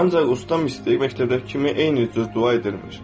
Ancaq usta mistik məktəbdəki kimi eynicə dua edirmiş.